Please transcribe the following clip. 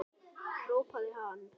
hrópaði hann.